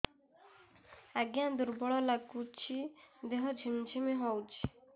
ଆଜ୍ଞା ଦୁର୍ବଳ ଲାଗୁଚି ଦେହ ଝିମଝିମ ହଉଛି